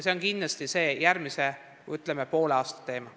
See on kindlasti järgmise poole aasta teema.